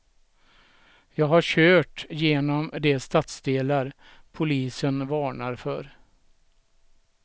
Jag har kört genom de stadsdelar polisen varnar för.